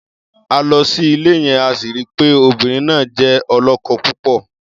A lọ sí ilé yẹn, a sì ri pé obìnrin náà jẹ́ ọlọ́kọ-púpọ̀.